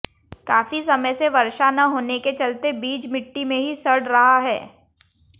काफी समय से वर्षा न होने के चलते बीज मिट्टी में ही सड़ रहा है